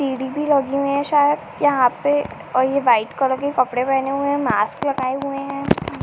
सीढ़ी भी लगी हुई हैं सायद यहाँ पे और यह वाइट कलर के कपड़े पहने हुए हैं मास्क लगाये हुए हैं।